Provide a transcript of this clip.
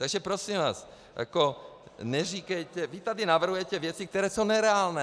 Takže prosím vás neříkejte - vy tady navrhujete věci, které jsou nereálné.